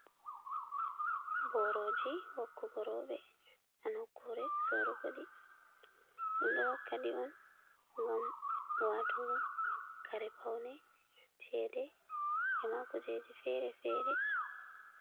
Boorooji wakkugo rooɓe haa nokkuure sorrugo ɗi, ɗum ɗo wakka ɗi on ngam watugo kare pawne, ceede e ma kujeeji feere-feere.